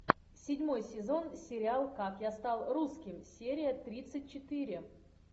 седьмой сезон сериал как я стал русским серия тридцать четыре